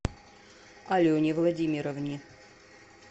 алене владимировне